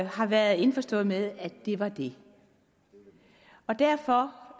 har været indforstået med at det var det og derfor